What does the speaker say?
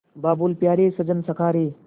बाबुल प्यारे सजन सखा रे